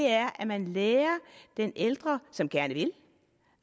er at man lærer den ældre som gerne vil